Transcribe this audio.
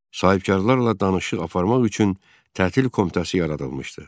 Sahibkarlarla danışıq aparmaq üçün tətil komitəsi yaradılmışdı.